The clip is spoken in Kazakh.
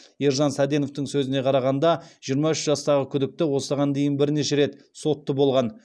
ержан саденовтің сөзіне қарағанда жиырма үш жастағы күдікті осыған дейін бірнеше рет сотты болған